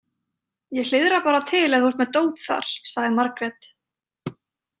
Ég hliðra bara til ef þú ert með dót þar, sagði Margrét.